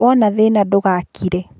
Wona thĩna ndũgakire